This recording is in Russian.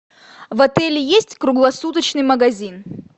в отеле есть круглосуточный магазин